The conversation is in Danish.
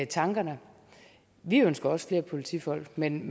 tankerne vi ønsker også flere politifolk men